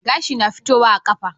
Gashi na fitowa a kafa